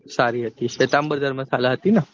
સારી હતી શ્વેતાંબર ધર્મશાળા હતી ને.